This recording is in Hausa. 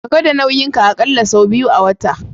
Ka gwada nauyin ka akalla sau biyu a wata.